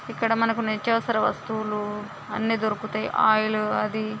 ఇక్కడ మనకు నిత్యావసర వస్తువులు అన్ని దొరుకు తాయి. ఆయిల్ అది--